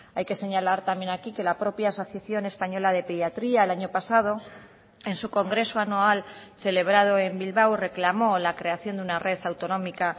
hay que señalar también aquí que la propia asociación española de pediatría el año pasado en su congreso anual celebrado en bilbao reclamó la creación de una red autonómica